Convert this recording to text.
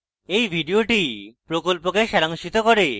এই video প্রকল্পকে সারাংশিত করে